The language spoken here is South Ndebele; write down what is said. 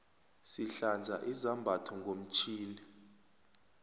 sihlanza izambatho ngomtjhini